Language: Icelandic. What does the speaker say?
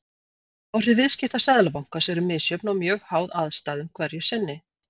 Áhrif viðskipta Seðlabankans eru misjöfn og mjög háð aðstæðum hverju sinni.